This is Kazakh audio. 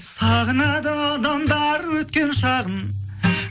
сағынады адамдар өткен шағын